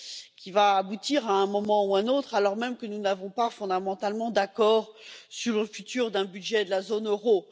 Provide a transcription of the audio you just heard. qui va aboutir à un moment ou à un autre, alors même que nous n'avons pas fondamentalement d'accord sur le futur d'un budget de la zone euro.